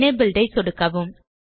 enabled ஐ சொடுக்கவும்